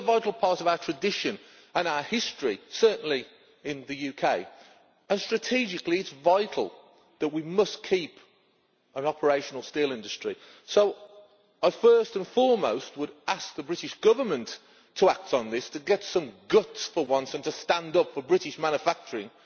We will lose a vital part of our tradition and our history certainly in the UK and it is strategically vital that we keep an operational steel industry. So, first and foremost, I would ask the British Government to act on this to have some guts for once and stand up for British manufacturing.